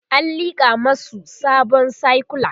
an liƙa masu sabon sikula